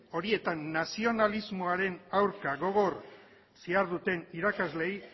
horietan nazionalismoaren aurka gogor ziharduten irakasleei